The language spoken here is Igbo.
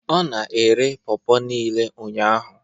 Ọ na-ere pawpaw niile ụnyahụ